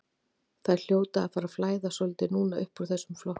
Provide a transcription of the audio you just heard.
Þeir hljóta að fara að flæða svolítið núna uppúr þessum flokkum.